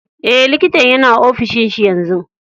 Eh, likitan yana ofishin shi yanzu.